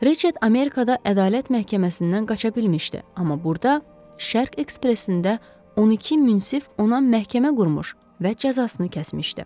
Reçid Amerikada ədalət məhkəməsindən qaça bilmişdi, amma burda Şərq Ekspresində 12 münsif ona məhkəmə qurmuş və cəzasını kəsmişdi.